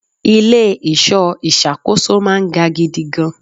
Ilẹ̀ ìṣọ́ ìṣàkóso máa ń ga gidigan.